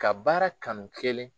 Ka baara kanu kelen